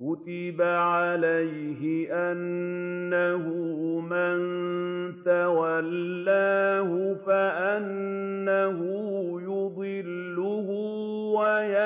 كُتِبَ عَلَيْهِ أَنَّهُ مَن تَوَلَّاهُ فَأَنَّهُ يُضِلُّهُ وَيَهْدِيهِ